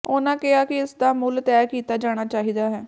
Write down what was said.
ਉਨ੍ਹਾਂ ਕਿਹਾ ਕਿ ਇਸ ਦਾ ਮੁੱਲ ਤੈਅ ਕੀਤਾ ਜਾਣਾ ਚਾਹੀਦਾ ਹੈ